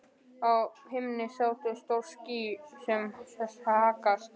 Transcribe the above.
Á himni sátu stór ský án þess að haggast.